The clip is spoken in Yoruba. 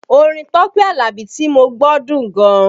Orin Tọ́pẹ́ Alabi tí mo gbọ́ dùn gan